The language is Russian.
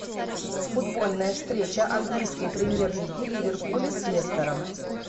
футбольная встреча английской премьер лиги ливерпуля с лестером